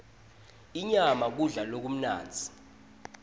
inyama kudla lokumnandzi